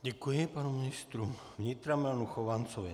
Děkuji panu ministru vnitra Milanu Chovancovi.